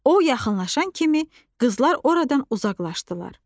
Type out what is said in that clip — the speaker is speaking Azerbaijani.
O yaxınlaşan kimi qızlar oradan uzaqlaşdılar.